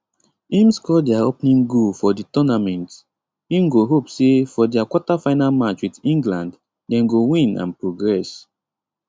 im score dia opening goal for di tournament im go hope say for dia quarterfinal match wit england dem go win and progress